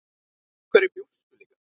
Við hverju bjóstu líka?